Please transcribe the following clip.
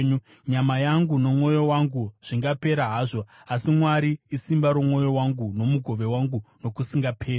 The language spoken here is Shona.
Nyama yangu nomwoyo wangu zvingapera hazvo, asi Mwari isimba romwoyo wangu nomugove wangu nokusingaperi.